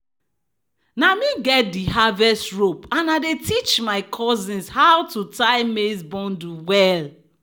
"na me get di harvest rope and i dey teach my cousins how to tie maize bundle well."